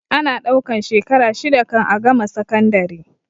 Ana ɗaukan shekara shida kan a gama sakandare